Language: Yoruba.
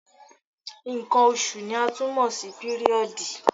Nǹkan oṣù ni a tún mọ̀ sí píríọ̀dì.